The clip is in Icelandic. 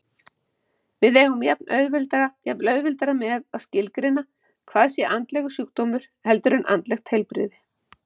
Við eigum jafnvel auðveldara með að skilgreina hvað sé andlegur sjúkdómur heldur en andlegt heilbrigði.